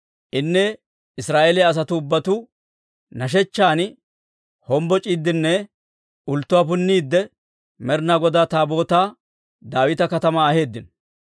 Inne Israa'eeliyaa asatuu ubbatuu nashechchan hombboc'iiddinne ulttuwaa punniidde Med'inaa Godaa Taabootaa Daawita Katamaa aheeddino.